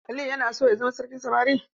Aliyu yana son ya zama sarkin samari.